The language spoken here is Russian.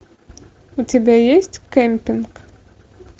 у тебя есть кемпинг